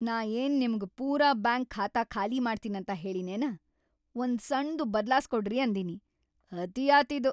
ನಾ ಏನ್‌ ನಿಮ್ಗ್‌ ಪೂರಾ ಬ್ಯಾಂಕ್‌ ಖಾತಾ ಖಾಲಿ ಮಾಡ್ತೀನಂತ ಹೇಳಿನೇನ, ಒಂದ್‌ ಸಣ್ದು ಬದ್ಲಾಸ್ಕೊಡ್ರಿ ಅಂದಿನಿ! ಅತೀ ಆತ್ ಇದು.